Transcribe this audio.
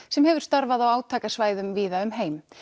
sem hefur starfað á átakasvæðum víða um heim